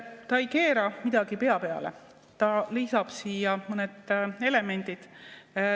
Ta ei keera midagi pea peale, ta lisab siia mõned elemendid.